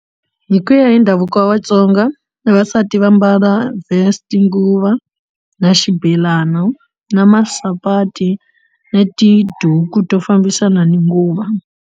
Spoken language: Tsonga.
Hi ku ya hi ndhavuko wa Vatsonga vavasati va mbala vest nguva na xibelana na masapati na tiduku to fambisana ni nguva.